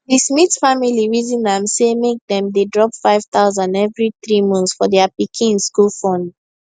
di smith family reason am say make make dem dey drop 5000 every three months for their pikin school fund